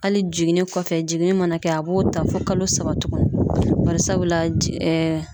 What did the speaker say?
Ali jiginni kɔfɛ jiginni mana kɛ a b'o ta fɔ kalo saba tuguni barisabula ji ɛɛ